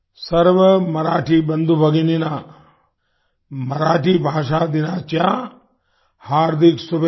सर्व मराठी बंधु भगिनिना मराठी भाषा दिनाच्या हार्दिक शुभेच्छा